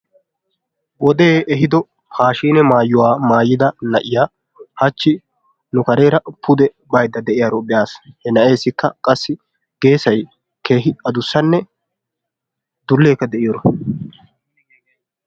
Wodee ehiiddo paashshiinne maayuwa maayiyda hachchi nu kareeraa pude baydda deiyaaro be'aas, na'eessikka qassi geesay keehi addussanne dulleekka de'iyoro.